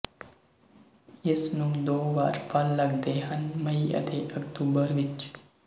ਇਸ ਨੂੰ ਦੋ ਵਾਰ ਫਲ ਲੱਗਦੇ ਹਨ ਮਈ ਅਤੇ ਅਕਤੂਬਰ ਵਿੱਚ